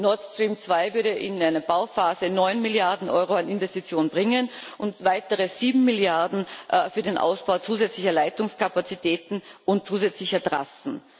Nord Stream 2 würde in einer Bauphase 9 Milliarden Euro an Investitionen bringen und weitere 7 Milliarden für den Ausbau zusätzlicher Leitungskapazitäten und zusätzlicher Trassen.